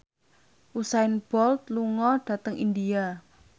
Usain Bolt lunga dhateng India